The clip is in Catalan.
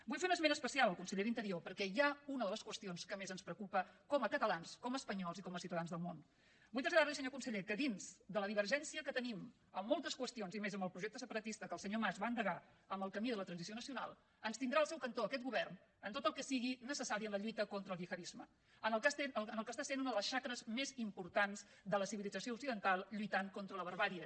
vull fer un esment especial al conseller d’interior perquè hi ha una de les qüestions que més ens preocupa com a catalans com a espanyols i com a ciutadans del món vull traslladar li senyor conseller que dins de la divergència que tenim en moltes qüestions i més en el projecte separatista que el senyor mas va endegar amb el camí de la transició nacional ens tindrà al seu cantó aquest govern en tot el que sigui necessari en la lluita contra el gihadisme en el que està sent una de les xacres més importants de la civilització occidental lluitant contra la barbàrie